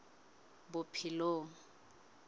bophelong